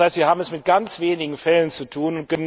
Das heißt, wir haben es mit ganz wenigen Fällen zu tun.